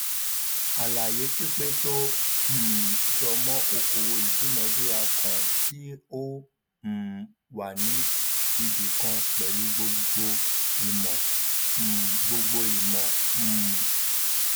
àlàyé pípé tó um jọmọ okòowò ìdúnadúrà kan tí ó um wà ní ibi kan pẹlú gbogbo ìmò um gbogbo ìmò um